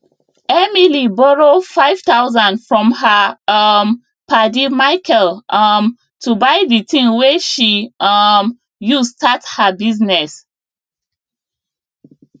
emily borrow 5000 from her um paddy michael um to buy the thing wey she um use start her business